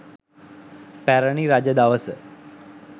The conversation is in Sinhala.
පැරැණි රජ දවස